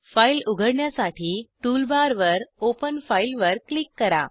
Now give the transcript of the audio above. file उघडण्यासाठी tool बारवर open file वर क्लिक करा